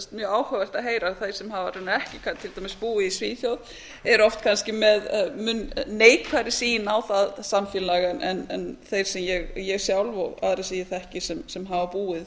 mjög áhugavert að heyra þá sem hafa raunar kannski búið í svíþjóð eru kannski oft með mun neikvæðari sýn á það samfélag en þeir sem ég sjálf og aðrir sem ég þekki sem hafa búið